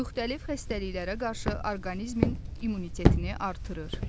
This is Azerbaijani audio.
Müxtəlif xəstəliklərə qarşı orqanizmin immunitetini artırır.